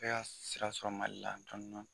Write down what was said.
bɛ ka sira sɔrɔ Mali la dɔni dɔni.